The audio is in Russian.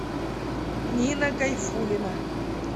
нина гайфулина